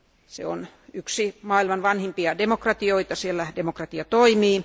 Se on yksi maailman vanhimpia demokratioita, siellä demokratia toimii.